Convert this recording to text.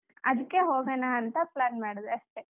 ಅದ್ಕೆ ಹೋಗೋಣ ಅಂತ plan ಮಾಡ್ದೆ ಅಷ್ಟೇ.